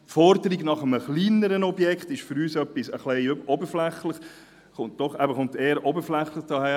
Die Forderung nach einem kleineren Objekt kommt für uns etwas oberflächlich daher.